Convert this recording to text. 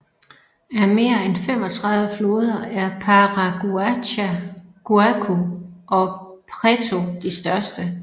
Af mere end 35 floder er Paraguacu og Preto de største